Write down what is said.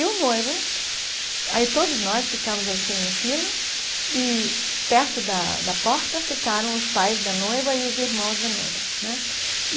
E o noivo... Aí todos nós ficamos assim em fila e perto da da porta ficaram os pais da noiva e os irmãos da noiva né.